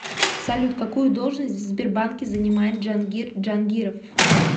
салют какую должность в сбербанке занимает джангир джангиров